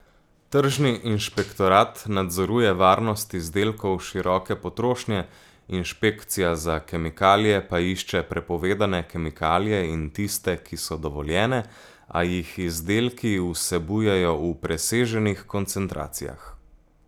Tržni inšpektorat nadzoruje varnost izdelkov široke potrošnje, Inšpekcija za kemikalije pa išče prepovedane kemikalije in tiste, ki so dovoljene, a jih izdelki vsebujejo v preseženih koncentracijah.